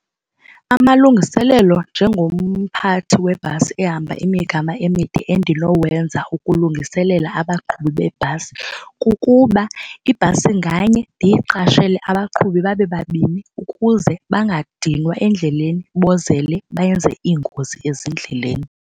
Amalungiselelo njengomphathi webhasi ehamba imigama emide endinowenza ukulungiselela abaqhubi bebhasi kukuba ibhasi nganye ndiyiqashele abaqhubi babe babini ukuze bangadinwa endleleni bozele benze iingozi ezindleleni.